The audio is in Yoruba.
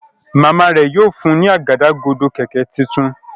Màmá rẹ yóò fún ní Àgádágodo kẹ̀kẹ́ títún.